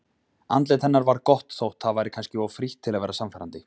Andlit hennar var gott þótt það væri kannski of frítt til að vera sannfærandi.